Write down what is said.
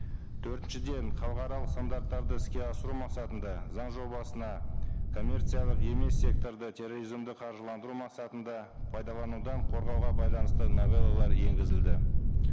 төртіншіден халықаралық стандарттарды іске асыру мақсатында заң жобасына коммерциялық емес секторды терроризмді қаржыландыру мақсатында пайдаланудан қорғауға байланысты новеллалар енгізілді